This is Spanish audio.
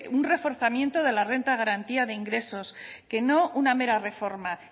un reforzamiento de la renta de garantía de ingresos que no una mera reforma